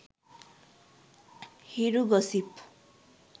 hiru gossip